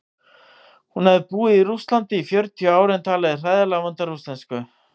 Hún hafði búið í Rússlandi í fjörutíu ár en talaði hræðilega vonda rússnesku.